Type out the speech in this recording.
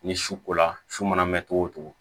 Ni su kola su mana mɛn cogo o cogo